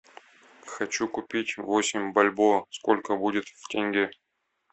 хочу купить восемь бальбоа сколько будет в тенге